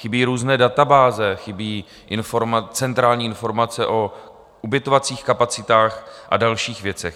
Chybí různé databáze, chybí centrální informace o ubytovacích kapacitách a dalších věcech.